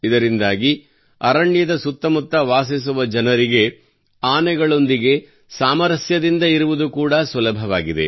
ಇದರಿಂದಾಗಿ ಅರಣ್ಯದ ಸುತ್ತಮುತ್ತ ವಾಸಿಸುವ ಜನರಿಗೆ ಆನೆಗಳೊಂದಿಗೆ ಸಾಮರಸ್ಯದಿಂದ ಇರುವುದು ಕೂಡಾ ಸುಲಭವಾಗಿದೆ